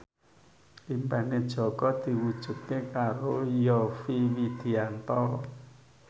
impine Jaka diwujudke karo Yovie Widianto